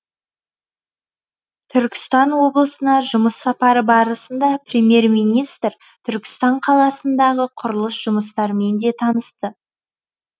түркістан облысына жұмыс сапары барысында премьер министр түркістан қаласындағы құрылыс жұмыстармен де танысты